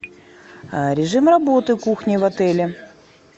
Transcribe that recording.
режим работы кухни в отеле